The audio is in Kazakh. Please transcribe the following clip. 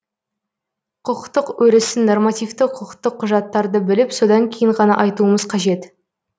құқықтық өрісін нормативті құқықтық құжаттарды біліп содан кейін ғана айтуымыз қажет